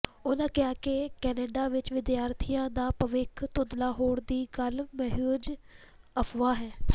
ਉਨਾਂ ਕਿਹਾ ਕਿ ਕੈਨੇਡਾ ਵਿੱਚ ਵਿਦਿਆਰਥੀਆਂ ਦਾ ਭਵਿੱਖ ਧੁੰਦਲਾ ਹੋਣ ਦੀ ਗੱਲ ਮਹਿਜ਼ ਅਫ਼ਵਾਹ ਹੈ